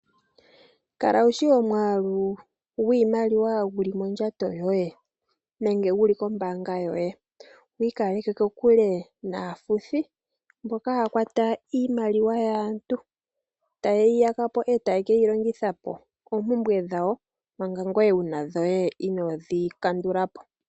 Kala wushi omwaalu gwiimaliwa guli mondjato yoye nenge guli kombaanga yoye , opo wiikaleke kokule naafuthi mboka haya kwata iimaliwa yaantu, etayeyi yakapo eta yekeyi longithapo oompumbwe dhawo manga ngoye wuna dhoye inoodhi kandulapo.